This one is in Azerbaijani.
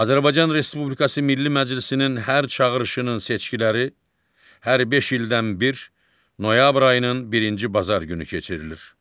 Azərbaycan Respublikası Milli Məclisinin hər çağırışının seçkiləri hər beş ildən bir noyabr ayının birinci bazar günü keçirilir.